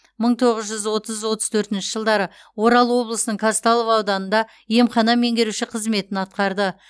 мың тоғыз жүз отыз отыз төртінші жылдары орал облысының казталов ауданында емхана меңгеруші қызметін атқарды